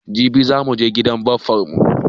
Jibi za muje gidan baffan mu